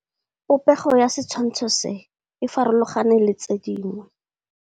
Popêgo ya setshwantshô se, e farologane le tse dingwe.